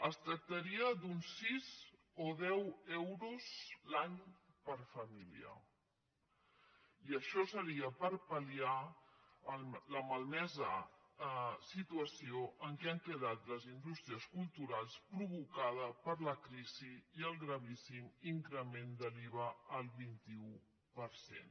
es tractaria d’uns sis o deu euros l’any per família i això seria per pal·liar la malmesa situació en què han quedat les indústries culturals provocada per la crisi i el gravíssim increment de l’iva al vint un per cent